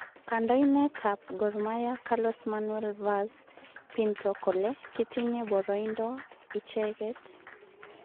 Kandoindet ab Gormahia Carlos Manuel Vaz pinto kole kitinye boroindo icheket.